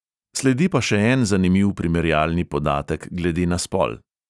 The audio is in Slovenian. Sledi pa še en zanimiv primerjalni podatek glede na spol.